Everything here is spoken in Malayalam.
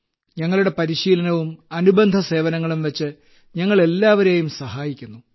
ഞങ്ങളുടെ പരിശീലനവും അനുബന്ധ സേവനങ്ങളും വച്ച് ഞങ്ങൾ എല്ലാവരെയും സഹായിക്കുന്നു